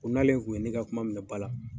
Kon'ale tun ye ne ka kuma minɛ ba la.